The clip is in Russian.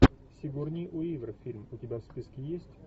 сигурни уивер фильм у тебя в списке есть